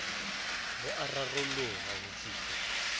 bo a raroloha ho fihlwa